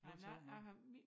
Men jeg jeg har min